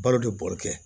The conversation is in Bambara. Balo de bɔrɛ kɛ